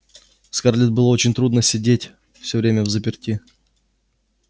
скарлетт было очень трудно сидеть всё время взаперти